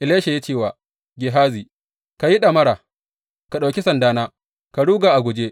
Elisha ya ce wa Gehazi, Ka yi ɗamara, ka ɗauki sandana ka ruga a guje.